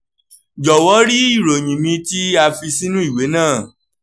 jọwọ rí ìròyìn mi tí a fi sínú ìwé náà